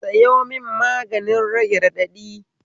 Sayo mun magani rage raɗaɗi